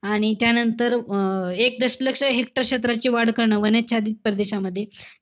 आणि त्यानंतर अं एक दशलक्ष hector क्षेत्राची वाढ करणं, वनच्छादित प्रदेशामध्ये.